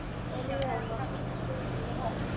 Gleðileg jól var hvíslað blíðlega í eyra hans.